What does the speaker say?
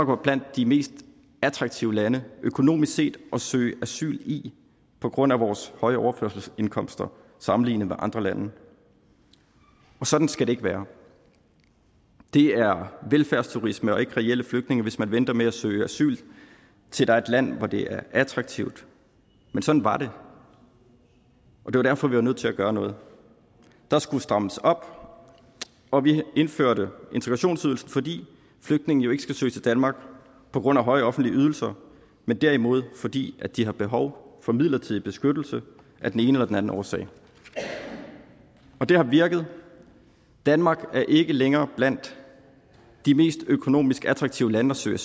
var blandt de mest attraktive lande økonomisk set at søge asyl i på grund af vores høje overførselsindkomster sammenlignet med andre lande og sådan skal det ikke være det er velfærdsturisme og ikke reelle flygtninge hvis man venter med at søge asyl til der er et land hvor det er attraktivt men sådan var det og det var derfor vi var nødt til at gøre noget der skulle strammes op og vi indførte integrationsydelsen fordi flygtninge ikke skal søge til danmark på grund af høje offentlige ydelser men derimod fordi de har behov for midlertidig beskyttelse af den ene eller den anden årsag det har virket danmark er ikke længere blandt de mest økonomisk attraktive lande at søge